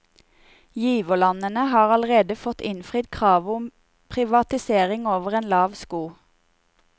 Giverlandene har allerede fått innfridd kravet om privatiseringer over en lav sko.